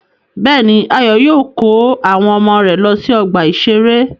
Bẹ́ẹ̀ni, Ayọ̀ yóò kó àwọn ọmọ rẹ̀ lọ sí ọgbà-ìṣeré.